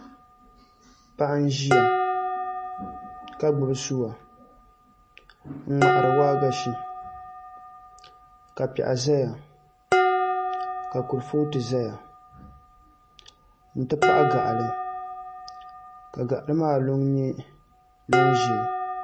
Paɣa n ʒiya ka gbubi suwa n ŋmahari waagashe ka piɛɣu ʒɛya ka kuripooti ʒɛya n ti pahi gaɣali ka gaɣali maa luŋ nyɛ luŋ ʒiɛ